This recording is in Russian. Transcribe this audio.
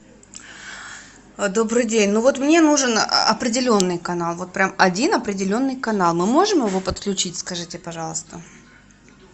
добрый день ну вот мне нужен определенный канал вот прям один определенный канал мы можем его подключить скажите пожалуйста